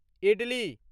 idli